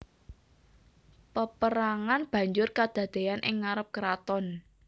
Paperangan banjur kadadean ing ngarep keraton